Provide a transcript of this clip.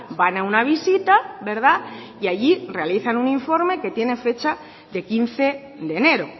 van a una visita verdad y allí realizan un informe que tiene fecha de quince de enero